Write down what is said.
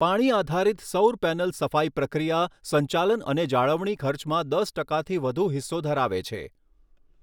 પાણી આધારિત સૌર પૅનલ સફાઈ પ્રક્રિયા સંચાલન અને જાળવણી ખર્ચમાં દસ ટકાથી વધુ હિસ્સો ધરાવે છે.